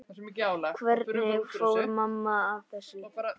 Hvernig fór mamma að þessu?